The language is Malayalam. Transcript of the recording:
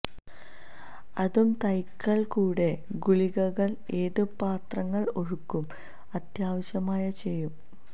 അതു തൈകൾ കൂടെ ഗുളികകൾ ഏത് പാത്രങ്ങൾ ഒരുക്കും അത്യാവശ്യമാണ് ചെയ്യും